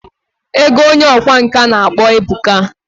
Ego Onye ọkwá nkà na akpo ebuka.